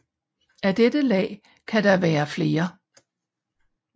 Af dette lag kan der være flere